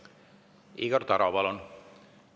Igor Taro, palun!